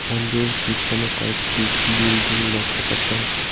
মন্দির পিছনে কয়েকটি বিল্ডিং লক্ষ করতে পাচ্ছি।